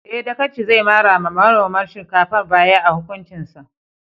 Eh, Dagaci zai mara wa manomin shinkafar baya a hukuncin sa.